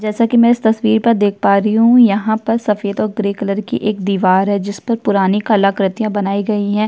जैसा कि मैं इस तस्वीर पर देख पा रही हूँ यहाँ पर सफ़ेद और ग्रे कलर की एक दीवार है जिसपर पुरानी कलाकृतियाँ बनाई गई है।